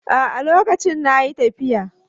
A'a, lokacin na yi tafiya.